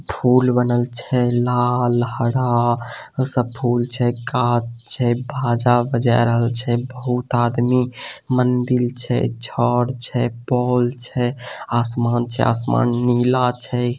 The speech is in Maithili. फूल बनल छै लाल हरा सब फुल छै कांच छै भाजा भज रल छै बहोत आदमी मंदिल छै छड़ छै पोल छै आसमान छै आसमान नीला छै।